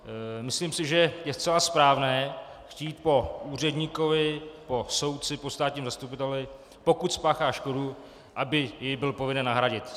Myslím si, že je zcela správné chtít po úředníkovi, po soudci, po státním zastupiteli, pokud spáchá škodu, aby ji byl povinen nahradit.